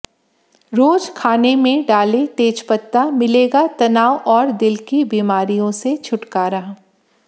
रोज खाने में डालें तेजपत्ता मिलेगा तनाव और दिल की बीमारियों से छुटकारा